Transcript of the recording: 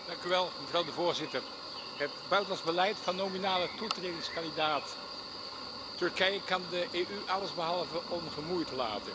Mevrouw de voorzitter, het buitenlands beleid van nominale toetredingskandidaat Turkije kan de EU allesbehalve ongemoeid laten.